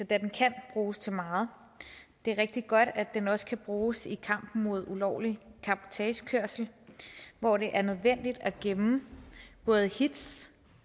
da den kan bruges til meget det er rigtig godt at den også kan bruges i kampen mod ulovlig cabotagekørsel hvor det er nødvendigt at gemme både hits